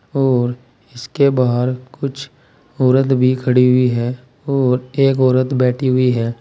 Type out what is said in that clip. और इसके बाहर कुछ औरत भी खड़ी हुई है और एक औरत बैठी हुई है।